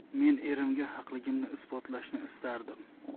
Men erimga haqligimni isbotlashni istardim.